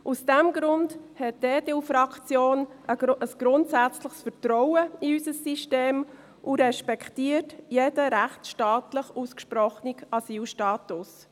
Aus diesem Grund hat die EDU-Fraktion ein grundsätzliches Vertrauen in unser System und respektiert jeden rechtsstaatlich ausgesprochenen Asylstatus.